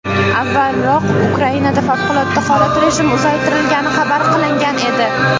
Avvalroq Ukrainada favqulodda holat rejimi uzaytirilgani xabar qilingan edi .